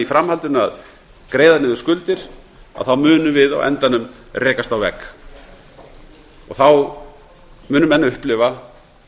framhaldinu að greiða niður skuldir munum við á endanum rekast á vegg og þá munu menn upplifa